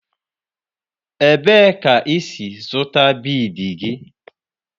Ebee ka ị si zụta bịịdii gị?